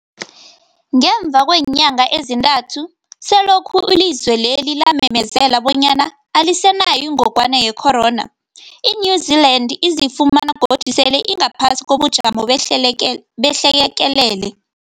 Ngemva kweenyanga ezintathu selokhu ilizwe lela lamemezela bonyana alisenayo ingogwana ye-corona, i-New-Zealand izifumana godu sele ingaphasi kobujamo behlekelele.